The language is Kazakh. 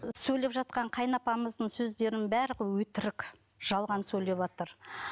сөйлеп жатқан қайынапамыздың сөздерінің барлығы өтірік жалған сөйлеватыр